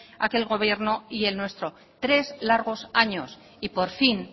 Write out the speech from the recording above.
aquel gobierno y el nuestro tres largos años y por fin